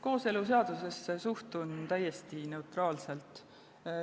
Kooseluseadusesse suhtun ma täiesti neutraalselt.